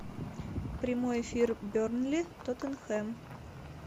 прямой эфир бернли тоттенхэм